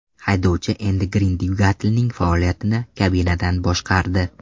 Haydovchi Endi Grin dvigatelning faoliyatini kabinadan boshqardi.